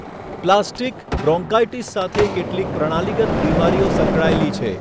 Plastic bronchitis સાથે કેટલીક પ્રણાલીગત બિમારીઓ સંકળાયેલી છે.